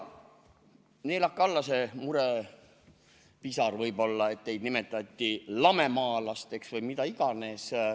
Neelake alla see murepisar, et teid nimetati lamemaalasteks või mida iganes.